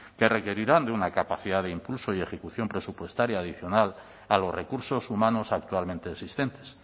que requerirán de una capacidad de impulso y ejecución presupuestaria adicional a los recursos humanos actualmente existentes